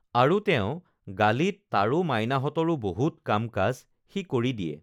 আৰু তেওঁৰ গালিত তাৰো মাইনাহতঁৰো বহুত কামকাজ সি কৰি দিয়ে